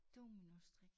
Dominostrik